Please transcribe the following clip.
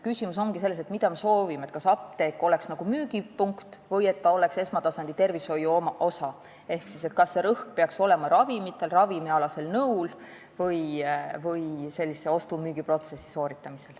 Küsimus ongi selles, mida me soovime – kas seda, et apteek oleks nagu müügipunkt, või et ta oleks esmatasandi tervishoiu osa, ehk kas rõhk peaks olema ravimitel ja ravimialasel nõul või ostu-müügiprotsessi sooritamisel.